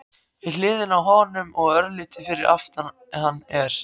Við hliðina á honum og örlítið fyrir aftan hann er